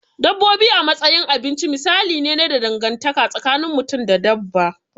Dabbobi a matsayin abinci misali ne na dangantaka tsakin mutum da dabba.